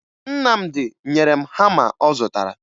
Nnamdị nyere m hama ọ zụtara